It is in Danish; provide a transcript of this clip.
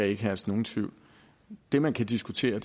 ikke herske nogen tvivl det man kan diskutere